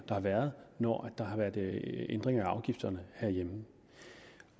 der har været når der har været ændringer af afgifterne herhjemme